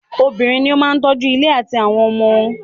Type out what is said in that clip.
Obìnrin ní o máà tọ́ju ilé àtí àwọn ọmọ.